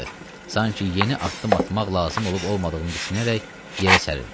Sanki yeni addım atmaq lazım olub olmadığını düşünərək yerə sərilirdi.